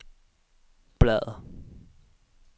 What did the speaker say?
bladr